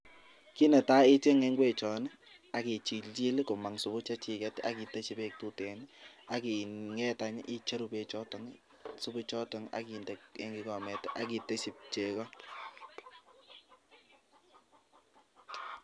Kit netai ichenge ingwek chon akichil chil komang subu chechiket akiteshi bek tuten akinget icheru bek choton ak subu choton akiteshi chego